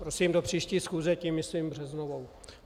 Prosím do příští schůze, tím myslím březnovou.